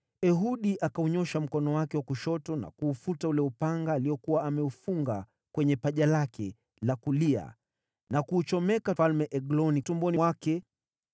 Ehudi akaunyoosha mkono wake wa kushoto na kuufuta ule upanga aliokuwa ameufunga kwenye paja lake la kulia, akamdunga Mfalme Egloni tumboni mwake.